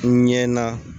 N ɲɛ na